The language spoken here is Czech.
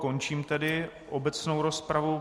Končím tedy obecnou rozpravu.